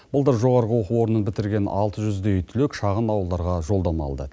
былтыр жоғарғы оқу орнын бітірген алты жүздей түлек шағын ауылдарға жолдама алды